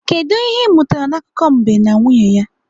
Kedụ ihe ị mụtara n'akụkọ mbe na nwunye ya?